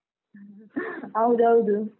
ಹೌದೌದು.